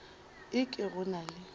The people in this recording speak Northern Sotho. e ke go na le